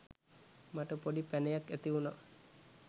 මට පොඩි පැණයක් ඇතිවුණා.